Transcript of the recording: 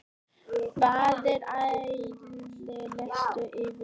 Báðir aðilar lýstu yfir sigri.